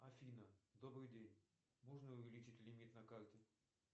афина добрый день можно увеличить лимит на карте